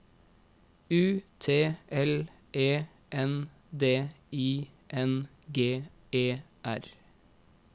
U T L E N D I N G E R